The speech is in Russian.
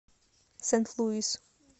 сент луис